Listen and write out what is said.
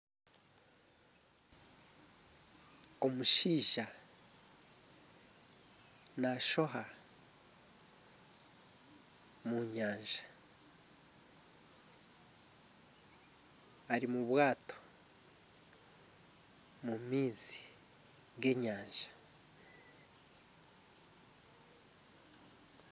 Omushaija nashoha omu nyanja. Ari mu bwaato omu maizi g'enyanja.